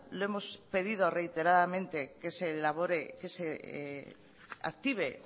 le hemos pedido reiteradamente que se active